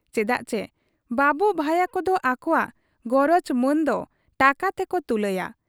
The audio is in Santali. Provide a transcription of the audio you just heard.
ᱪᱮᱫᱟᱜ ᱪᱤ ᱵᱟᱹᱵᱩ ᱵᱷᱟᱹᱭᱟᱹ ᱠᱚᱫᱚ ᱟᱠᱚᱣᱟᱜ ᱜᱚᱨᱚᱡᱽ ᱢᱟᱹᱱ ᱫᱚ ᱴᱟᱠᱟ ᱛᱮᱠᱚ ᱛᱩᱞᱟᱹᱭᱟ ᱾